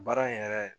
Baara in yɛrɛ